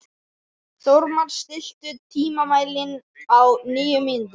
Þórmar, stilltu tímamælinn á níu mínútur.